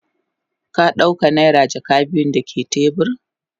Ka dauka naira jaka biyu dake tebur?